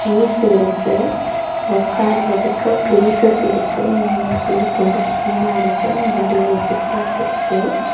Trees இருக்கு உக்காருரதுக்கு places இருக்கு இந்த பிளேஸ் ரொம்ப சில்லா இருக்கு முன்னாடி ஒரு ஃபுட் பாத் இருக்கு.